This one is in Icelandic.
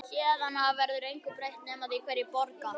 Héðan af verður engu breytt nema því hverjir borga.